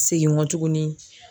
Segin nkɔ tuguni.